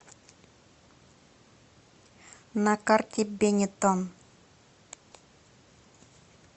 на карте бенетон